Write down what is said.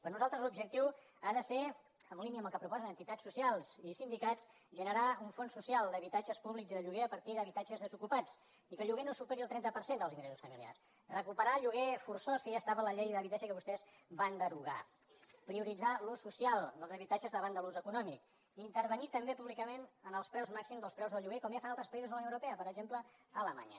per nosaltres l’objectiu ha de ser en línia amb el que proposen entitats socials i sindicats generar un fons social d’habitatges públics i de lloguer a partir d’habitatges desocupats i que el lloguer no superi el trenta per cent dels ingressos familiars recuperar el lloguer forçós que ja estava a la llei d’habitatge i que vostès van derogar prioritzar l’ús social dels habitatges davant de l’ús econòmic intervenir també públicament en els preus màxims dels preus del lloguer com ja fan altres països de la unió europea per exemple alemanya